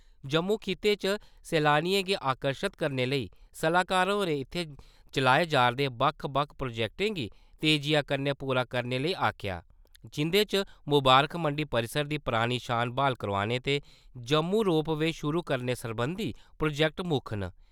जम्मू खित्ते च सैलानियें गी आकर्शित करने लेई सलाहकार होरें इत्थै चलाए जा`रदे बक्ख-बक्ख प्रोजेक्टें गी तेजिआ कन्नै पूरा करने लेई आखेआ जिंदे च मुबारक मंडी परिसर दी परानी शान बहाल करोआने ते जम्मू रोप-वे शुरू करने सरबंधी प्रोजेक्ट मुक्ख न।